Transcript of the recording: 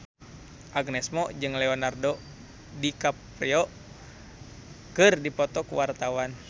Agnes Mo jeung Leonardo DiCaprio keur dipoto ku wartawan